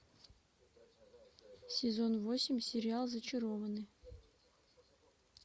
сезон восемь сериал зачарованные